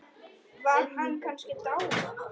Var hann kannski dáinn?